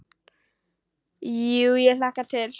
Jú ég hlakka til.